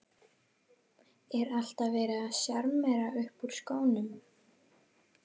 Er alltaf verið að sjarmera upp úr skónum?